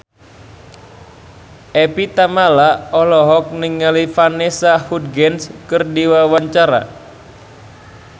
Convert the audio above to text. Evie Tamala olohok ningali Vanessa Hudgens keur diwawancara